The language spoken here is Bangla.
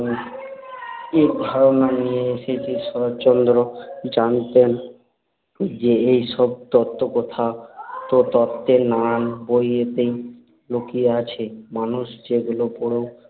এর ধারণা নিয়ে এসেছে। শরৎচন্দ্র জানতেন যে, এইসব তত্ত্বকথা তো তত্ত্বের নানান বইতেই লুকিয়ে আছে মানুষ যেগুলো পড়েও